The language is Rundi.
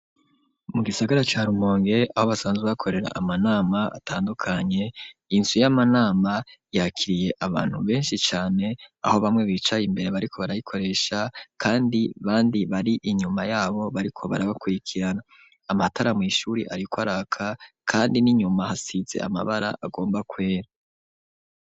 Mu gisagara ca rumonge aho basanzwe, bakorera amanama atandukanye inzu y'amanama yakiriye abantu benshi cane aho bamwe bicaye imbere bariko barayikoresha kandi bandi bari inyuma yabo bariko barabakurikirana amatara mw'shuri ariko araka kandi n'inyuma hasitze amabara agomba kwera.